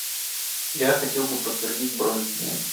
я хотел бы подтвердить бронь